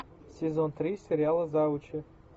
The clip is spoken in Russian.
сезон три сериала завучи